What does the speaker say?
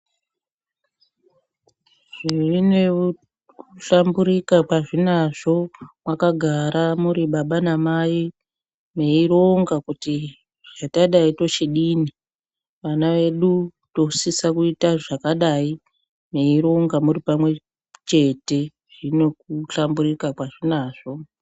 Zvinekuhlambuka kwazvinazvo mwakagara muri baba namai mweironga kuti hatadai tochidini, ana edu tinosisa kuita zvakadai mweironga muripamwe chete zvine kuhlamburuka kwazvinazvo.